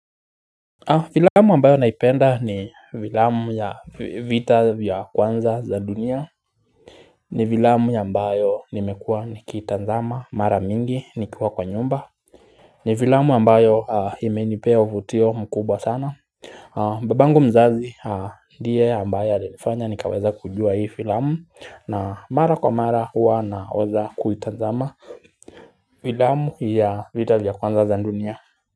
Filamu ambayo naipenda ni Filamu ya vita vya kwanza za dunia ni filamu ya ambayo nimekua nikitazama mara mingi nikiwa kwa nyumba ni filamu ambayo imenipea uvutio mkubwa sana babangu mzazi ndiye ambaye alinifanya nikaweza kujua hii filamu na mara kwa mara hua naweza kuitazama filamu ya vita ya kwanza za dunia.